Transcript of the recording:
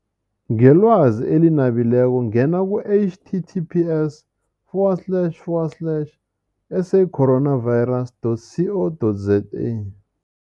Ngelwazi eli nabileko ngena ku-H T T P S forward slash forward slash S A coronavirus dot C O dot Z A.